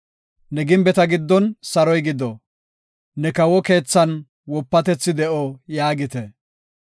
Ne gimbeta giddon saroy gido; ne kawo keethan wopatethi de7o” yaagite.